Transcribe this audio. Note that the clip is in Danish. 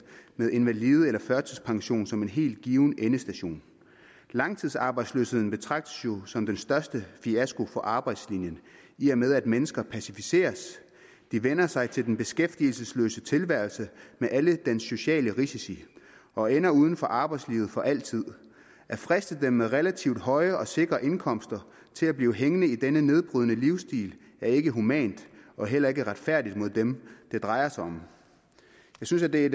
med invalide eller førtidspension som en helt given endestation langtidsarbejdsløshed betragtes som den største fiasko for arbejdslinjen i og med at mennesker passiviseres de vender sig til den beskæftigelsesløse tilværelse med alle den sociale risici og ender uden for arbejdslivet for altid at friste dem med relativt høje og sikre indkomster til at blive hængende i denne nedbrydende livsstil er ikke humant og heller ikke retfærdigt mod dem det drejer sig om jeg synes at det er